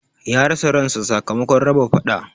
Ya rasa ran sa sakamakon raba faɗa